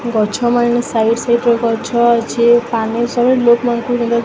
ଗଛ ମାନେ side side ରେ ଗଛ ଅଛି ।